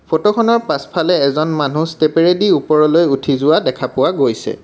ফটোখনৰ পাছফালে এজন মানুহ ষ্টেপেৰেদি ওপৰলৈ উঠি যোৱা দেখা পোৱা গৈছে।